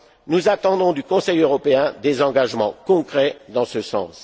Nous attendons du Conseil européen des engagements concrets dans ce